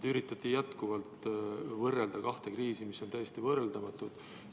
Te üritate jätkuvalt võrrelda kahte kriisi, mis on täiesti võrreldamatud.